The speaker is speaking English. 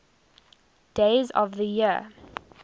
days of the year